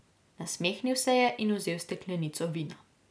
Nasmehnil se je in vzel steklenico vina.